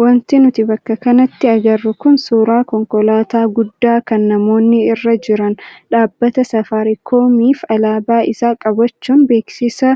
Wanti nuti bakka kanatti agarru kun suuraa konkolaataa guddaa kan namoonni irra jiran dhaabbata saafaariikoomiif alaabaa isaa qabachuun beeksisa